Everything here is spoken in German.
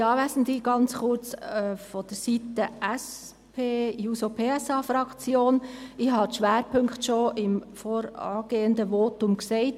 Ganz kurz seitens der SP-JUSO-PSA-Fraktion: Ich habe die Schwerpunkte schon im vorangehenden Votum dargelegt.